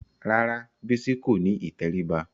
Rárá Bísí kò ní ìtẹríba